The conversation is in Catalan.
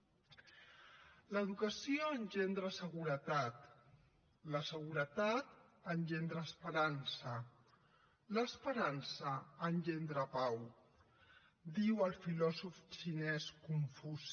l’educació engendra seguretat la seguretat engendra esperança l’esperança engendra pau diu el filòsof xinès confuci